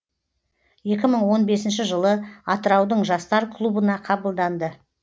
екі мың он бесінші жылы атыраудың жастар клубына қабылданды